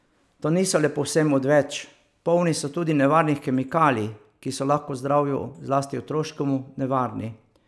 Ti niso le povsem odveč, polni so tudi nevarnih kemikalij, ki so lahko zdravju, zlasti otroškemu, nevarni.